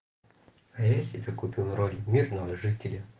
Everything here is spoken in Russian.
а я себе купил роль мирного жителя